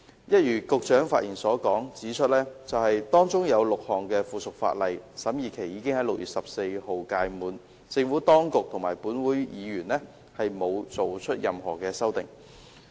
一如局長發言時指出 ，6 項附屬法例的審議期已在6月14日屆滿，政府當局及本會議員均沒有提出任何修訂。